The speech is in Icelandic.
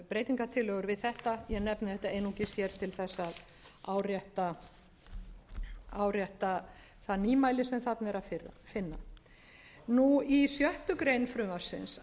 breytingartillögur við þetta ég nefndi þetta einungis hér til þess að árétta það nýmæli sem þarna er að finna í sjöundu greinar frumvarpsins